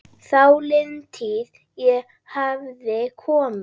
Þáliðin tíð- ég hafði komið